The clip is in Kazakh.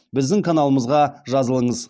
біздің каналымызға жазылыңыз